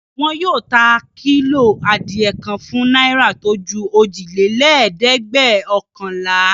Wọn yóò ta kílò adìẹ kan fún náírà tó ju òjìlélẹ́ẹ̀dẹ́gbẹ́ọ̀kànlá.